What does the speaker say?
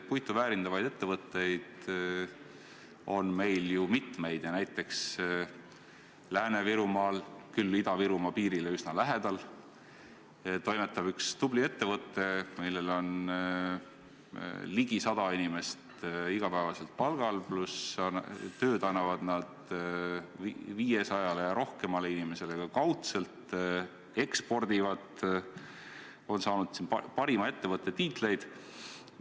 Puitu väärindavaid ettevõtteid on meil mitmeid ja näiteks Lääne-Virumaal – küll Ida-Virumaa piirile üsna lähedal – toimetab üks tubli ettevõte, kus on ligi 100 inimest iga päev palgal, pluss annab ta tööd 500-le ja rohkemale inimesele ka kaudselt, ekspordib ja on saanud parima ettevõtte tiitleid.